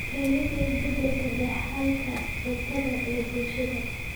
Keenida isbeddelka dhaxalka cuntada ee bulshada.